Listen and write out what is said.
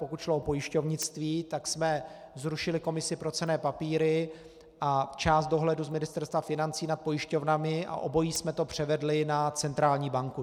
Pokud šlo o pojišťovnictví, tak jsme zrušili Komisi pro cenné papíry a část dohledu z Ministerstva financí nad pojišťovnami a obojí jsme to převedli na centrální banku.